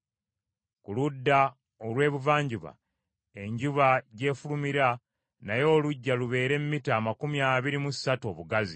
Ku ludda olw’ebuvanjuba, enjuba gy’efulumira, nayo oluggya lubeere mita amakumi abiri mu ssatu obugazi.